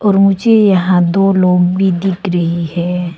और मुझे यहां दो लोग भी दिख रहे हैं।